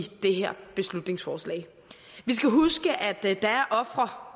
det her beslutningsforslag vi skal huske at der er ofre